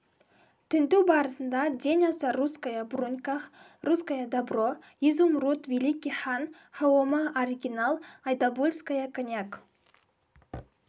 тінту барысында ден аса русская бруньках русское добро изумруд великий хан хаома оригинал айдабульская коньяк